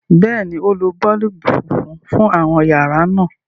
béèni, o ló boolubu fúnfún fún àwọn yàrá náa.